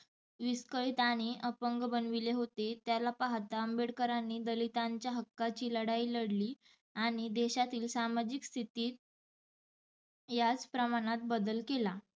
विस्कळीत आणि अपंग बनविले होते त्याला पाहाता आंबेडकरांनी दलितांच्या हक्काची लढाई लढली आणि देशातील सामाजिक स्थितीत याच प्रमाणात बदल केला.